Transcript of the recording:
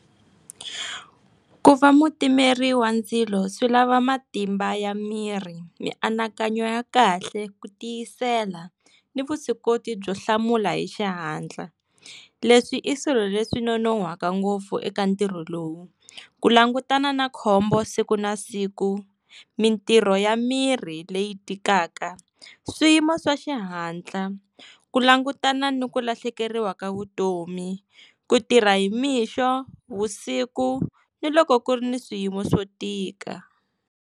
Ku va mutimeri wa ndzilo swi lava matimba ya miri, mianakanyo ya kahle, ku tiyisela ni vuswikoti byo hlamula hi xihatla. Leswi i swilo leswi nonohwaka ngopfu eka ntirho lowu, ku langutana na khombo siku na siku, mintirho ya mirhi leyi tikaka, swiyimo swa xihatla, ku langutana ni ku lahlekeriwa ka vutomi, ku tirha hi mixo, vusiku ni loko ku ri ni swiyimo swo tika.